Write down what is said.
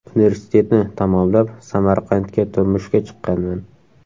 Universitetni tamomlab, Samarqandga turmushga chiqqanman.